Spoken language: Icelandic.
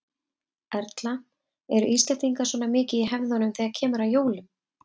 Erla: Eru Íslendingar svona mikið í hefðunum þegar kemur að jólum?